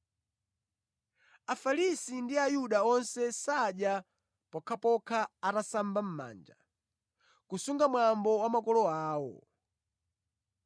(Afarisi ndi Ayuda onse sadya pokhapokha atasamba mʼmanja, kusunga mwambo wa makolo awo.